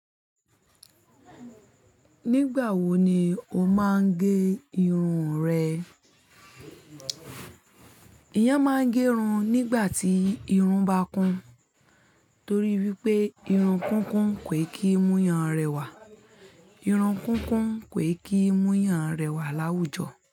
Nígbà wo ni o máa ń gé irun rẹ? Eyan máa ń gé irun nígbà tí irun bá kún, torí wípé irun kúnkún kò kí mú yàn rẹwà. Irun kúnkún kò kí mú yàn rẹwà láwùjọ.